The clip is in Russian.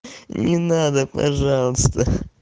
не надо пожалуйста